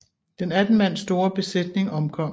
Den 18 mand store besætning omkom